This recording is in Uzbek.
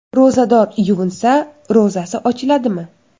Ro‘zador yuvinsa, ro‘zasi ochiladimi?.